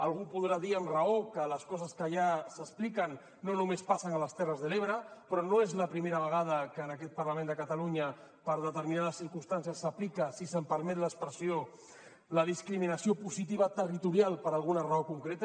algú podrà dir amb raó que les coses que allà s’expliquen no només passen a les terres de l’ebre però no és la primera vegada que en aquest parlament de catalunya per determinades circumstàncies s’aplica si se’m permet l’expressió la discriminació positiva territorial per alguna raó concreta